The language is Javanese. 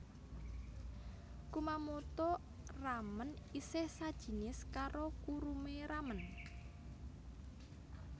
Kumamoto ramen isih sajinis karo kurume ramen